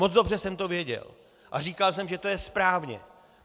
Moc dobře jsem to věděl a říkal jsem, že to je správně!